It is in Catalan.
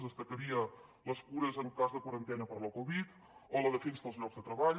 destacaria les cures en cas de quarantena per la covid o la defensa dels llocs de treball